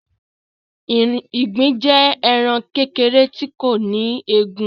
Ìgbín jẹ ẹran kékèrè tí kò ní egúngún.